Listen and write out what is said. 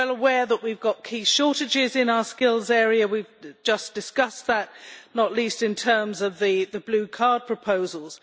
We are well aware that we have key shortages in our skills area we have just discussed that, not least in terms of the Blue Card proposals.